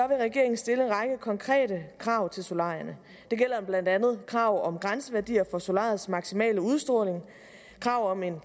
vil regeringen stille en række konkrete krav til solarierne det gælder blandt andet krav om grænseværdier for solariets maksimale udstråling krav om en